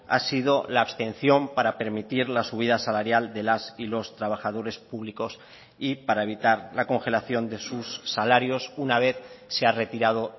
ha sido la abstención para permitir la subida salarial de las y los trabajadores públicos y para evitar la congelación de sus salarios una vez se ha retirado